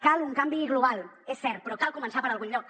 cal un canvi global és cert però cal començar per algun lloc